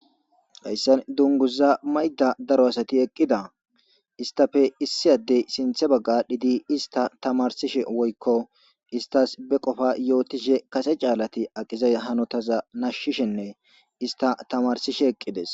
hayssan dunguza mayda daro asati eqqida istafe issi addey sinthe bagga dhidi ista tamarsishe woykko istas be qofa yootishe kase caalati aqizay hanotaza nashshishenne ista tamarsishe eqqides